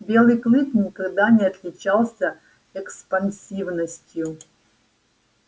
белый клык никогда не отличался экспансивностью